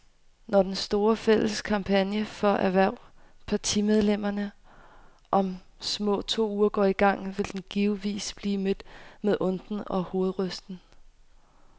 Når den store, fælles kampagne for at hverve partimedlemmer om små to uger går i gang, vil den givetvis blive mødt med undren og hovedrysten.